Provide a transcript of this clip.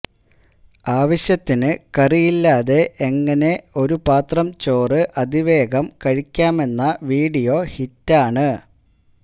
ആവശ്യത്തിന് കറിയില്ലാതെ എങ്ങിനെ ഒരൂ പാത്രം ചോറ് അതിവേഗം കഴിക്കാമെന്ന വീഡിയോ ഹിറ്റാണ്